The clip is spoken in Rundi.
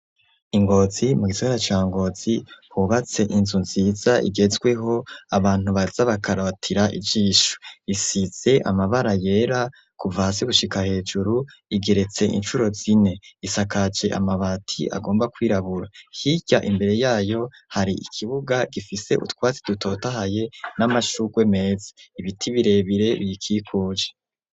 I Ngozi mu gisagara ca Ngozi, hubatse inzu nziza igezweho, abantu baza bakaratira ijisho, isize amabara yera kuva hasi gushika hejuru, igeretse incuro zine, isakaje amabati agomba kwirabura, hirya imbere yayo hari ikibuga gifise utwatsi dutotahaye n'amashugwe meza, ibiti birebire biyikikuje.